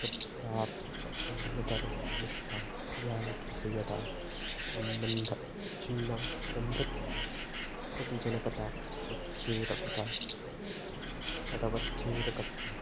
शब्दार्थान्यतरनिष्ठा या विषयतासम्बन्धावच्छिन्ना चमत्कृतिजनकतावच्छेदकता तदवच्छेदकत्वम्